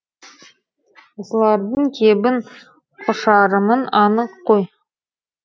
осылардың кебін құшарымын анық қой